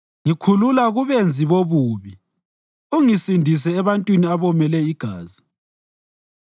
Ngikhulula kubenzi bobubi ungisindise ebantwini abomele igazi.